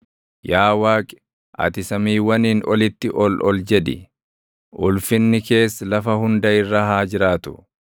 Yaa Waaqi, ati samiiwwaniin olitti ol ol jedhi; ulfinni kees lafa hunda irra haa jiraatu.